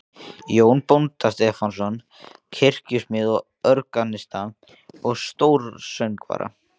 Jón bónda Stefánsson, kirkjusmið, organista og stórsöngvara.